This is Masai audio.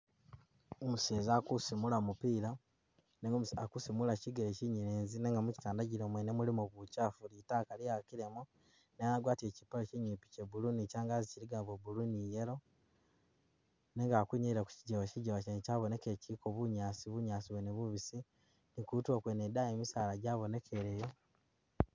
Umuseza ali kusimula mupila nenga ali kusimulila chigele chinyelezi nenga michigandagilo mwene mulimo buchafu, litaka lyeyakilemo, ne agwatile chipale chinyipi ni changazi chilikamo bwa blue ni yellow nenga ali kwinyayila kujigewa, jigewa chene chabonekele chiliko bunyaasi, bunyaasi bwene bwabonekele bubisi, ni kutulo kwene daayi misaala jabonekele yo